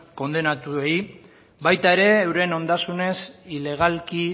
kondenatuei baita ere euren ondasunez ilegalki